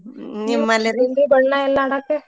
ಬಣ್ಣ ಎಲ್ಲಾ ಆಡಾಕ?